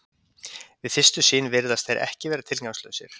Við fyrstu sýn virðast þeir vera tilgangslausir.